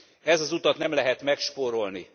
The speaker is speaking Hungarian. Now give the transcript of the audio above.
Ezt az utat nem lehet megspórolni.